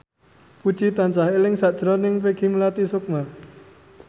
Puji tansah eling sakjroning Peggy Melati Sukma